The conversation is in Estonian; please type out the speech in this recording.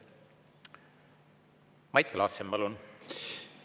Mait Klaassen, palun!